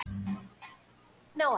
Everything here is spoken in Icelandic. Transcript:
Hergill, hvaða stoppistöð er næst mér?